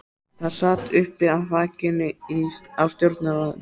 Það sat uppi á þakinu á stjórnarráðinu.